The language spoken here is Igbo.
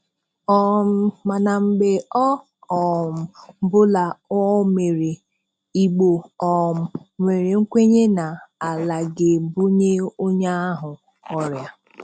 um Mana mgbe ọ um bụla ọ mere, Igbo um nwere nkwenye na Ala ga-ebunye onye ahụ ọrịa.